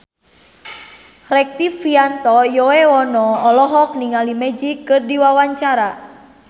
Rektivianto Yoewono olohok ningali Magic keur diwawancara